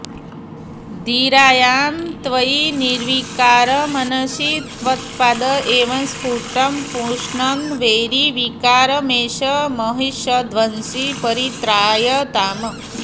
धीरायां त्वयि निर्विकारमनसि त्वत्पाद एव स्फुटं पुष्णन् वैरिविकारमेष महिषध्वंसी परित्रायताम्